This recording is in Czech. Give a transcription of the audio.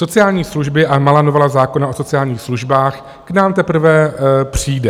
Sociální služby a malá novela zákona o sociálních službách k nám teprve přijde.